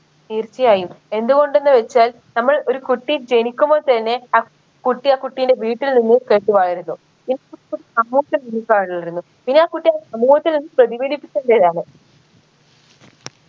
തീർച്ചയായും എന്ത്കൊണ്ടെന്ന് വച്ചാൽ നമ്മൾ ഒരു കുട്ടി ജനിക്കുമ്പോൾ തന്നെ അ കുട്ടി ആ കുട്ടിൻറെ വീട്ടിൽ നിന്ന് മായിരുന്നു വളരുന്നു പിന്നെ ആ കുട്ടി ആ സമൂഹത്തിലും പ്രതിഫലിപ്പിക്കേണ്ടതാണ്